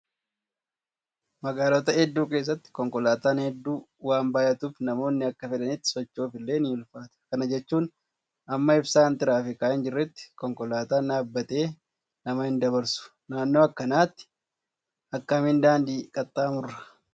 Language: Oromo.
Magaalota hedduu keessatti konkolaataan hedduu waan baay'atuuf namoonni akka fedhanitti socho'uuf illee ni ulfaata. Kana jechuun hamma ibsaan tiraafikaa hin jirretti konkolaataan dhaabbatee nama hin dabarsu. Naannoo akkanaatti akkamiin daandii qaxxaamurraa?